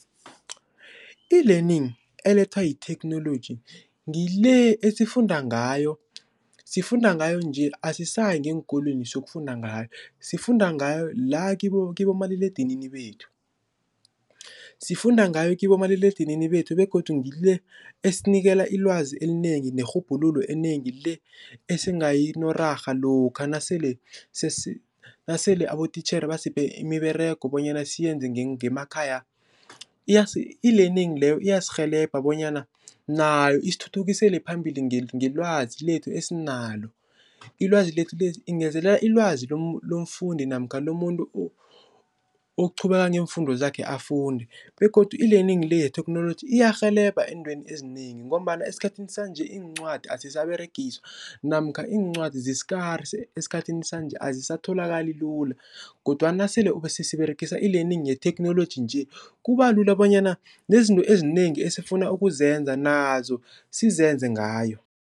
E-Learning elethwa yitheknoloji ngile esifunda ngayo, sifunda ngayo nje asisayi ngeenkolweni siyokufunda ngayo sifunda ngayo la kibomaliledinini bethu. Sifunda ngayo kibomaliledinini bethu begodu ngile esinikela ilwazi elinengi nerhubhululo enengi le esingayinorarha lokha nasele nasele abotitjhere basiphe imiberego bonyana siyenze ngemakhaya. E-Learning leyo iyasirhelebha bonyana nayo isithuthukisele phambili ngelwazi lethu esinalo. lngezelelela ilwazi lomufundi namkha lomuntu oqhubeka ngeemfundo zakhe afunde begodu e-Learning le yetheknoloji iyarhelebha eentweni ezinengi ngombana esikhathini sanje iincwadi azisaberegiswa namkha iincwadi zi-scarce esikhathini sanje azisatholakali lula kodwana nasele siberegisa e-Learning yetheknoloji nje kuba lula bonyana nezinto ezinengi esifuna ukuzenza nazo sizenze ngayo.